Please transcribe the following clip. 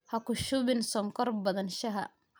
Ha ku shubin sonkor badan shaaha